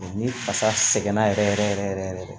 ni fasa sɛgɛn na yɛrɛ yɛrɛ yɛrɛ yɛrɛ